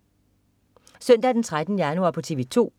Søndag den 13. januar - TV 2: